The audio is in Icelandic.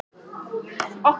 Berit, hvað er jörðin stór?